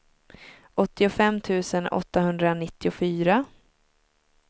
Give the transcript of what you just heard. åttiofem tusen åttahundranittiofyra